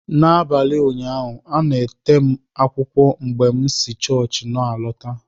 N'abalị ụnyaahụ, a na-ete m akwụkwọ mgbe m si chọọchị na-alọta.